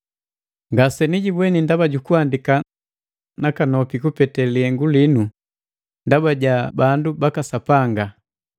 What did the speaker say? Ngasenijibweni ndaba jukuhandika nakanopi kupete lihengu linu ndaba ja bandu baka Sapanga.